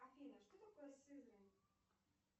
афина что такое сызрань